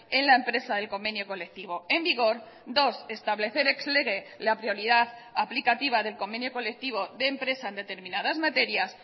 en la empresa del convenio colectivo en vigor dos establecer ex lege la prioridad aplicativa del convenio colectivo de empresa en determinadas materias